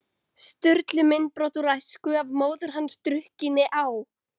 Sturlu myndbrot úr æsku, af móður hans drukkinni á